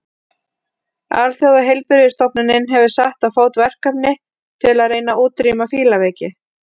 Alþjóðaheilbrigðisstofnunin hefur sett á fót verkefni til að reyna að útrýma fílaveiki.